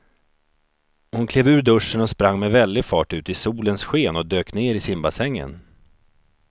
Hon klev ur duschen, sprang med väldig fart ut i solens sken och dök ner i simbassängen.